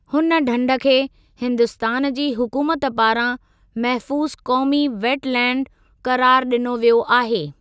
हुन ढंढ खे हिंदुस्तानु जी हुकूमत पारां महफूज़ु क़ौमी वेट लैंड क़रारु ॾिनो वियो आहे।